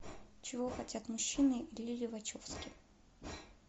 чего хотят мужчины лили вачовски